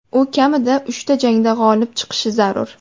U kamida uchta jangda g‘olib chiqishi zarur.